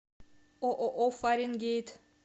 ооо фаренгейт